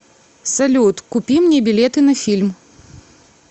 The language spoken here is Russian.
салют купи мне билеты на фильм